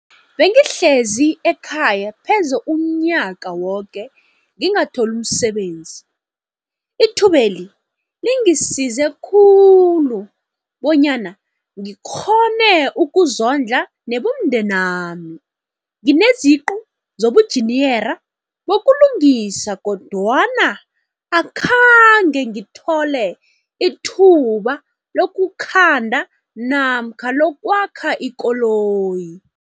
''Bengihlezi ekhaya pheze umnyaka woke ngingatholi umsebenzi. Ithubeli lingisize khulu bonyana ngikghone ukuzondla nebomndenami. Ngineziqu zobunjiniyera bokulungisa kodwana akhange ngithole ithuba lokukhanda namkha lokwakha ikoloyi.